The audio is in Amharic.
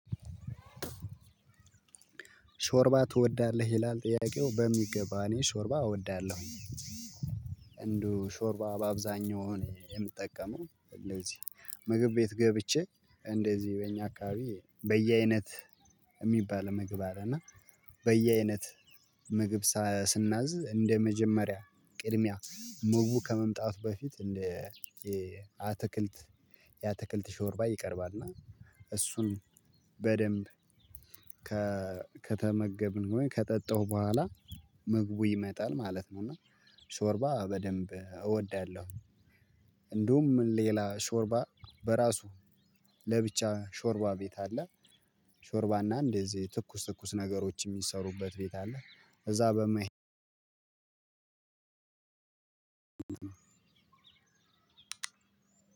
ሾርባ ትወዳለህ ይላል? ጥያቄው በሚገባ እኔ ሾርባ እወዳለሁ። ሾርባ በአብዛኛው የምጠቀመው እንደዚህ ምግብ ቤት ገብቼ እንደዚህ በእኛ አካባቢ በየአይነት የሚባል ምግብ አለ እና በየአይነት ምግብ ስናዝ እንደ መጀመሪያ ቅድሚያ ምግቡ ከመምጣቱ በፊት እንደ አትክልት የአትክልት ሾርባ ይቀርባል። እና እሱን በደንብ ከተመገብን ወይ ከጠጣው በኋላ ምግቡ ይመጣል ማለት ነው። እና ሾርባ በደንብ እወዳለሁ። እንዲሁም ሌላ ሾርባ በራሱ ለብቻ ሾርባ ቤት አለ። ሾርባና እንደዚህ ትኩስ ትኩስ ነገሮች የሚሰሩበት ቤት አለ እዛ በመሄድ።